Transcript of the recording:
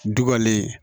Dukɔlen